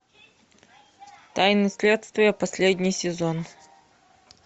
тайны следствия последний сезон